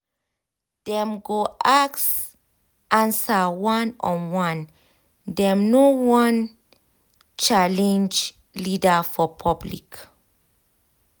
dem go ask answer one on one dem no wan challenge leader for public